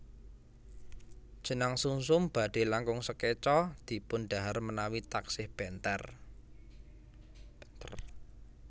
Jenang sumsum badhe langkung sekeca dipun dhahar menawi taksih benter